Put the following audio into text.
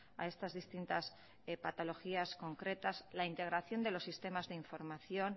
a estas distintas patologías concretas la integración de los sistemas de información